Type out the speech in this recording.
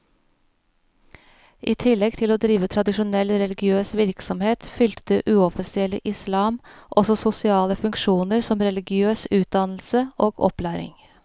I tillegg til å drive tradisjonell religiøs virksomhet, fylte det uoffisielle islam også sosiale funksjoner som religiøs utdannelse og opplæring.